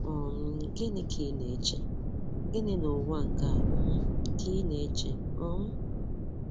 um Gịnị Gịnị ka ị na-eche? Gịnị n'ụwa nke a um ka ị na-eche? um